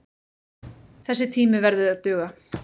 Þessi tími verði að duga.